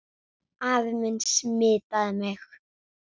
Afi minn smitaði mig.